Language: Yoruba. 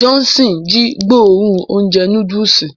Johnson ji gbóòórùn ounjẹ núdùùsì.